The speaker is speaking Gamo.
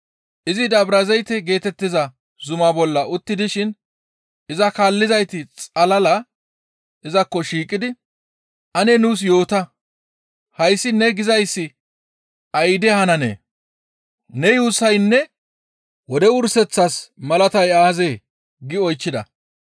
Izi Dabrazayte geetettiza zumaa bolla utti dishin iza kaallizayti xalala izakko shiiqidi, «Ane nuus yoota; hayssi ne gizayssi ayde hananee? Ne yuussassinne wode wurseththas malatay aazee?» gi oychchida.